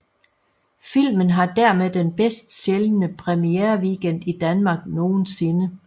Filmen har dermed den bedst sælgende premiereweekend i Danmark nogensinde